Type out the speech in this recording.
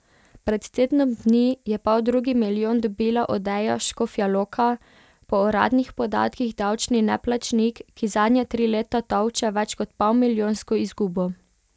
Pred tednom dni je poldrugi milijon dobila Odeja Škofja Loka, po uradnih podatkih davčni neplačnik, ki zadnja tri leta tolče več kot polmilijonsko izgubo.